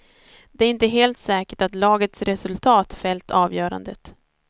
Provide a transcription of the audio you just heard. Det är inte helt säkert att lagets resultat fällt avgörandet.